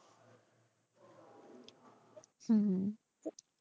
হুম